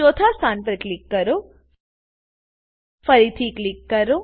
ચોથા સ્થાન પર ક્લીક કરો ફરીથી ક્લિક કરો